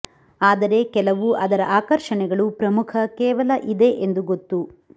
ಆದರೆ ಕೆಲವು ಅದರ ಆಕರ್ಷಣೆಗಳು ಪ್ರಮುಖ ಕೇವಲ ಇದೆ ಎಂದು ಗೊತ್ತು